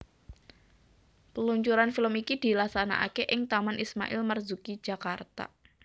Peluncuran film iki dilaksanakake ing Taman Ismail Marzuki Jakarta